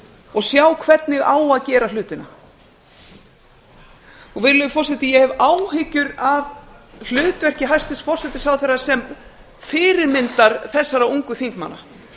og sjá hvernig á að gera hlutina virðulegi forseti ég hef áhyggjur af hlutverki hæstvirts forsætisráðherra sem fyrirmyndar þessara ungu þingmanna